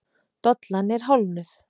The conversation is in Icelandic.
Dollan er hálfnuð.